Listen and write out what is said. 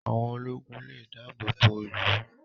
Àwọn ológun lè dáàbò bo ìlú